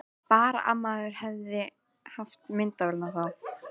Tíu álnir fyrir utan gluggann minn búa tvær naktar hjúkrunarkonur.